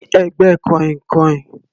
Ní ẹ̀gbẹ́ kàìnkàìn.